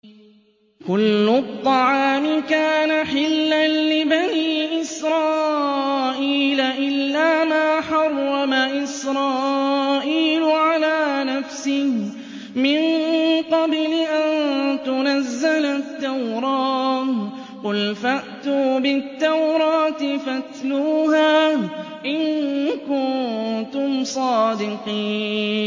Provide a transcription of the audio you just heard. ۞ كُلُّ الطَّعَامِ كَانَ حِلًّا لِّبَنِي إِسْرَائِيلَ إِلَّا مَا حَرَّمَ إِسْرَائِيلُ عَلَىٰ نَفْسِهِ مِن قَبْلِ أَن تُنَزَّلَ التَّوْرَاةُ ۗ قُلْ فَأْتُوا بِالتَّوْرَاةِ فَاتْلُوهَا إِن كُنتُمْ صَادِقِينَ